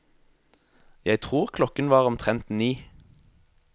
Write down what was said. Jeg tror klokken var omtrent ni.